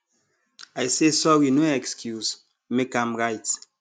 i say sorry no excuse make am right